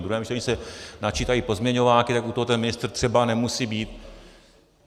Ve druhém čtení se načítají pozměňováky, tak u toho ten ministr třeba nemusí být.